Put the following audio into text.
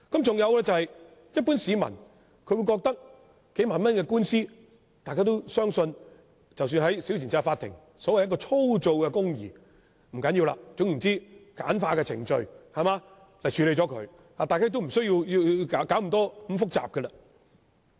再者，一般市民認為數萬元的官司，應在審裁處以所謂"粗糙的公義"處理便可，總之應用簡化的程序來處理，無須弄得那麼複雜。